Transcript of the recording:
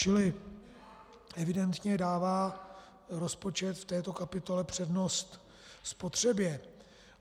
Čili evidentně dává rozpočet v této kapitole přednost spotřebě.